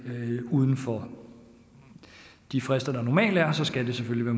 uden for de frister der normalt er så skal det selvfølgelig